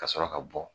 Ka sɔrɔ ka bɔ